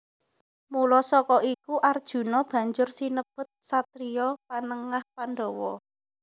Mula saka iku Arjuna banjur sinebut satriya Panengah Pandhawa